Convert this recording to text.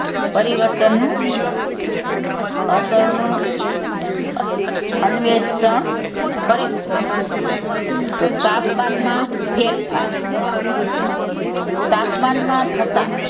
પરિવર્તનનું અસરનું અન્વેષણ કરીશું તો તાપમાનમાં ફેરફાર તાપમાનમાં થતાં,